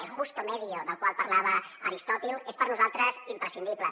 el justo medio del qual parlava aristòtil és per nosaltres imprescindible